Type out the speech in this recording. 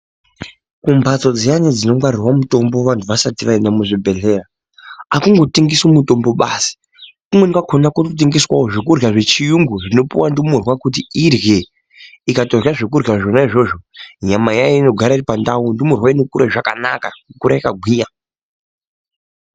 Kumbatso dziyani dzongwarirwa mutombo vantu vasati vaenda kuzvibhedhlera akungotengeswi mitombo basi kumweni kwakona kunotengeswa zvekurya zvechirungu zvinopuwa ndumurwa zvekuti irye ikatorya zvona izvozvo nyama yayo inogara iripandau ndumurwa inokura zvakanaka kukura yakagwinya.